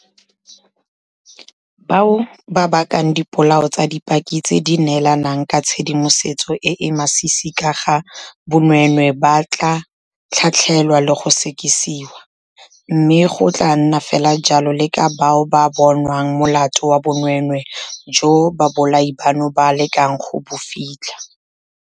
Bao ba bakang dipolao tsa dipaki tse di neelang ka tshedimosetso e e masisi ka ga bonweenwee ba tla tlhatlhelwa le go sekisiwa, mme go tla nna fela jalo le ka bao ba bonwang molato wa bonweenwee joo babolai bano ba lekang go bo fitlha.